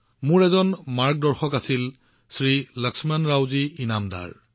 মোৰ এজন গাইড আছিল শ্ৰী লক্ষ্মণৰাও জী ইনামদাৰ